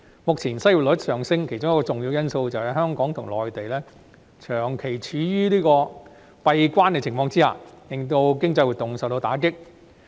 目前失業率上升，其中一個重要因素是，香港和內地長期處於"閉關"的狀態，令經濟活動大受打擊。